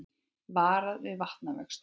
Varað við vatnavöxtum